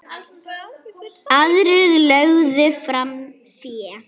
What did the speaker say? Aðrir lögðu fram fé.